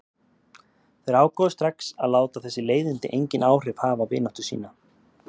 Þeir ákváðu strax að láta þessi leiðindi engin áhrif hafa á vináttu sína.